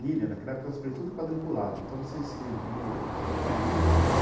planilhas, naquela época era tudo quadriculado, então você escrevia nas planilhas.